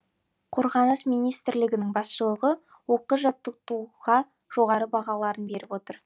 қорғаныс министрлігінің басшылығы оқу жаттығуға жоғары бағаларын беріп отыр